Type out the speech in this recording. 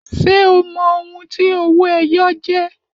Ṣé o mọ ohun tí owó-ẹyọ jẹ́